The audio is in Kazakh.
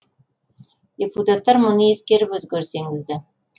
депутаттар мұны ескеріп өзгеріс енгізді